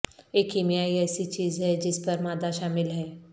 ایک کیمیائی ایسی چیز ہے جس پر مادہ شامل ہے